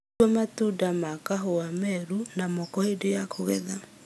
Tua matunda ma kahũa meru na moko hĩndĩ ya kũgetha